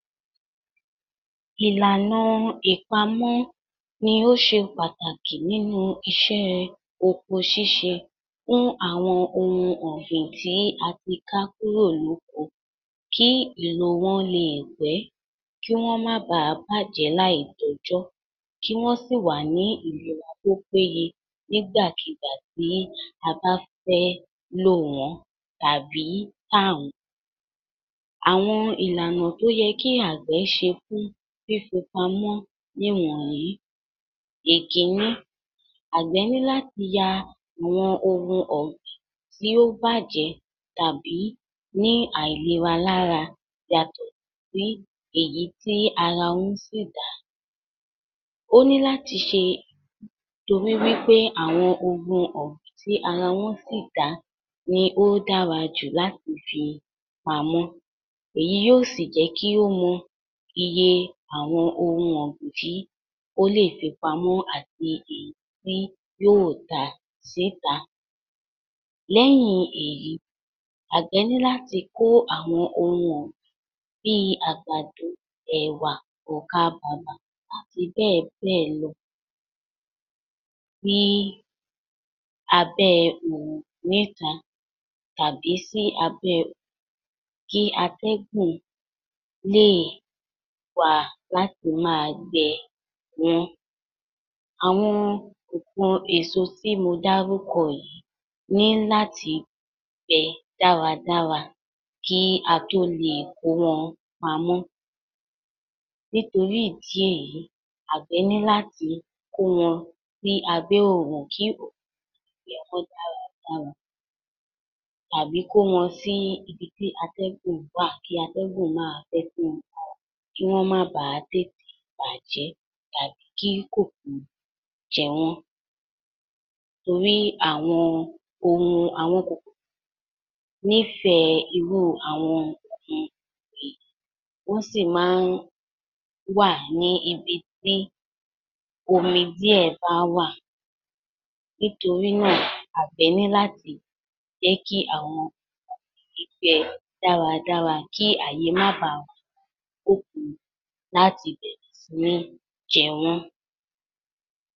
Ìlànà ìpamọ̀ ní ó ṣe pàtàkì nínú iṣẹ́ oko ṣíṣe fún àwọn ohun ọ̀gbìn tí a tí ká kúrò ní oko kí ìlò wọn lè pẹ́, kí wọn bà máa bàjẹ́ láì tó ọjọ́, kí wọn sì wà ní ìlera tó péyẹ nígbà kígbà tí a bá fẹ́ lò wọn tàbí ta wọn. Àwọn ìlànà tó yẹ kí Àgbẹ̀ ṣe fún fífi pamọ́ ní wọ̀nyí: Ìkíní. Àgbẹ̀ ní láti ya àwọn ohun ọ̀gbìn tí ó bàjẹ́ tàbí ní àìlera lára yàtọ̀ sí èyí tí ara wọn sì dá a. Ó ní láti ṣe torí wí pé àwọn ohun ọ̀gbìn tí ara wọn sì dáa ni o dára jù láti fi pamọ́. Èyí yóò sì jẹ́ kí ó mọ iye àwọn ohun ọ̀gbìn tí ó lè fi pamọ̀ àti èyí tí yóò tà sí ta. Lẹ́yìn èyí, Àgbẹ̀ ní láti kó àwọn ohun ọ̀gbìn bí àgbàdo, ẹ̀wà, ọ̀kàbabà àti bẹ́ẹ̀ bẹ́ẹ̀ lọ sí abẹ́ oòrùn ni ìta tàbí sí abẹ́ kí atẹ́gùn lè wà á láti máa gbẹ wọ́n. Àwọn èpọn èso tí mo dárúkọ yìí ní láti gbẹ dára dára kí a tó lè kó wọn pamọ́. Nítorí ìdí èyí, Àgbẹ̀ ní láti kó wọn sí abẹ́ oòrun kí oòrùn dára dára àbí kó wọn sí ibi tí atẹ́gùn wà kí atẹ́gùn máa fẹ́ sí wọn lára kí wọn bà má tètè bàjẹ́ tàbí kí kòròkò jẹ wọ́n. Torí àwọn ohun, àwọn kòkòrò nífẹ̀ẹ́ irú àwọn ohun ọ̀gbìn, wọ́n sí máa wà níbi tí omi díẹ̀ bá wà. Nítorí náà, Àgbẹ̀ ní láti jẹ́ kí àwọn gbẹ dára dára kí àyè má bà wà fún kòkòrò láti bẹ̀rẹ̀ si ní jẹ wọ́n.